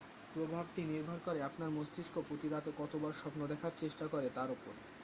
প্রভাবটি নির্ভর করে আপনার মস্তিষ্ক প্রতি রাতে কতবার স্বপ্ন দেখার চেষ্টা করে তার উপর